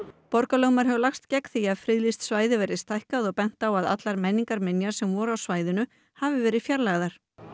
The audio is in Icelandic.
borgarlögmaður hefur lagst gegn því að friðlýst svæði verði stækkað og bent á að allar menningarminjar sem voru á svæðinu hafi verið fjarlægðar